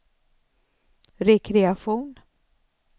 rekreation